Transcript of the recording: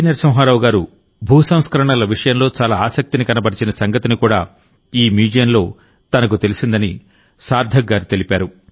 నరసింహారావు గారు భూ సంస్కరణల విషయంలో చాలా ఆసక్తిని కనబరిచిన సంగతి కూడా ఈ మ్యూజియంలో తనకు తెలిసిందని సార్థక్ గారు తెలిపారు